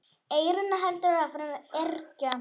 Eyrún heldur áfram að yrkja.